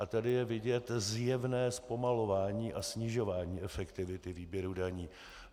A tady je vidět zjevné zpomalování a snižování efektivity výběru daní.